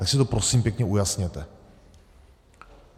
Tak si to prosím pěkně ujasněte.